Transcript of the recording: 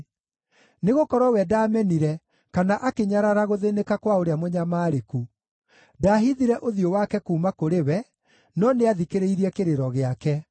Nĩgũkorwo we ndaamenire kana akĩnyarara gũthĩĩnĩka kwa ũrĩa mũnyamarĩku; ndaahithire ũthiũ wake kuuma kũrĩ we, no nĩathikĩrĩirie kĩrĩro gĩake.